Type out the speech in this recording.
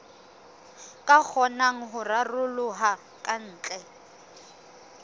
ka kgonang ho raroloha kantle